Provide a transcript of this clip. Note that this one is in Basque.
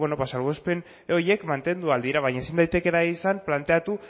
bueno ba salbuespen horiek mantendu al dira baina ezin daitekeena da izan planteatu